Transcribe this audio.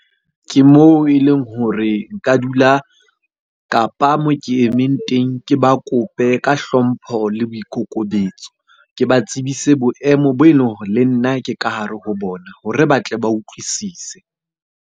Ke moo e leng hore nka dula, kapa moo ke emeng teng ke ba kope ka hlompho le boikokobetso. Ke ba tsebise boemo bo e leng hore le nna ke ka hare ho bona hore ba tle ba utlwisise.